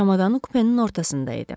Çamadanı kupenin ortasında idi.